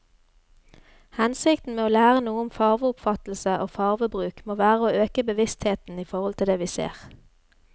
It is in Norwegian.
Hensikten med å lære noe om farveoppfattelse og farvebruk må være å øke bevisstheten i forhold til det vi ser.